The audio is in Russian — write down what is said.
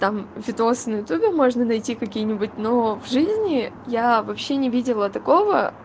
там видосы на ютубе можно найти какие-нибудь но в жизни я вообще не видела такого